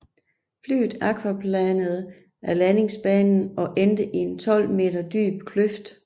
Flyet aquaplanede af landingsbanen og endte i en 12 meter dyb kløft